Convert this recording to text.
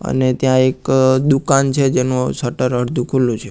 અને ત્યાં એક દુકાન છે જેનુ શટર અડધુ ખુલ્લુ છે.